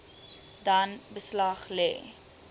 dan beslag lê